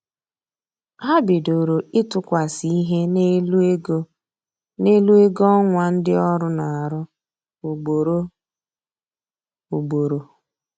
Ha bidoro ịtụkwasị ihe n'elu ego n'elu ego ọnwa ndị ọrụ na-arụ ugboro ugboro